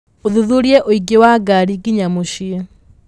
ũthuthurie ũingĩ wa ngari nginya mũciĩ